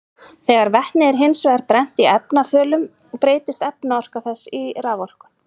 Þegar vetni er hins vegar brennt í efnarafölum breytist efnaorka þess í raforku.